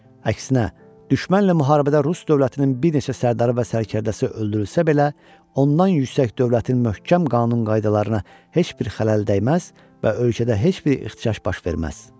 Əksinə, düşmənlə müharibədə Rus dövlətinin bir neçə sərdarı və sərkərdəsi öldürülsə belə, ondan yüksək dövlətin möhkəm qanun-qaydalarına heç bir xələl dəyməz və ölkədə heç bir ixtişaş baş verməz.